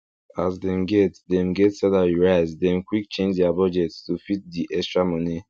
as dem get dem get salary raise dem quick change their budget to fit di extra moni